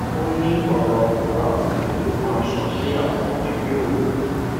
ó ní ọrọ kòbákùngbé ló máa ń sọ sí àwọn ẹbí òun